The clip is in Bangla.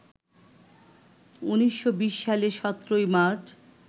১৯২০ সালের ১৭ মার্চ